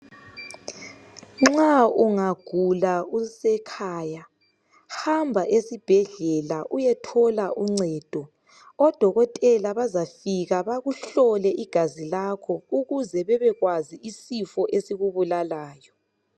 Nxa ungagulanusekhaya hamba esibhedlela uyethola uncedo odokotela bazafika bakuhlole igazi lakho ukuze bebekwazi isifo esikubulalayo.